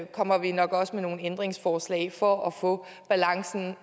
kommer vi nok også med nogle ændringsforslag for at få balancen